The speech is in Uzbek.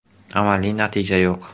Amaliy natija yo‘q”.